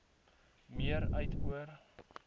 meer uit oor